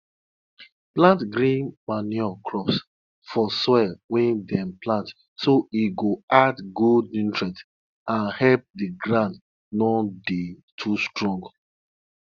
before time for farm go start um na um bull cow them dey offer so dat husband and wife go fit born pikin and increase go dey.